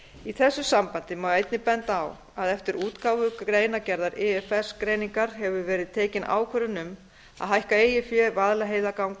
í þessu sambandi má einnig benda á að eftir útgáfu greinargerðar ifs greiningar hefur verið tekin ákvörðun um að hækka eigið fé vaðlaheiðarganga h f